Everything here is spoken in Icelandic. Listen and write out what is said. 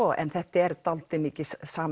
en þetta eru dálítið mikið